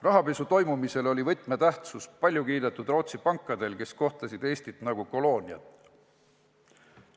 Rahapesu toimumisel oli võtmetähtsus paljukiidetud Rootsi pankadel, kes kohtlesid Eestit nagu kolooniat.